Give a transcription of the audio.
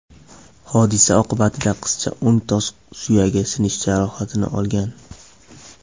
Hodisa oqibatida qizcha o‘ng tos suyagi sinishi jarohatini olgan.